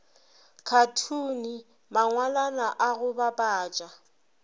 khathune mangwalwana a go bapatša